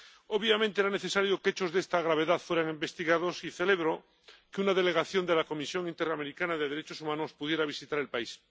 Obviamente, era necesario que hechos de esta gravedad fueran investigados y celebro que una delegación de la Comisión Interamericana de Derechos Humanos pudiera visitar el país.